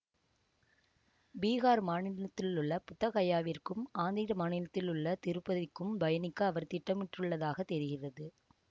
பீகார் மாநிலத்திலுள்ள புத்தகயாவிற்கும் ஆந்திர மாநிலத்திலுள்ள திருப்பதிக்கும் பயணிக்க அவர் திட்டமிட்டுள்ளதாகத் தெரிகிறது